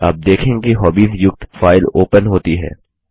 आप देखेंगे कि हॉबीज युक्त फाइल ओपन होती है